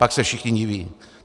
Pak se všichni diví.